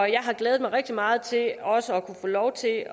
har glædet mig rigtig meget til også at kunne få lov til at